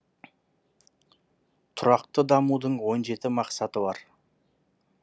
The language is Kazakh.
тұрақты дамудың он жеті мақсаты бар